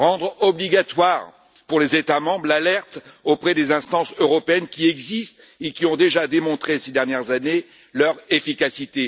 Rendre obligatoire pour les États membres l'alerte auprès des instances européennes qui existent et qui ont déjà démontré, ces dernières années, leur efficacité.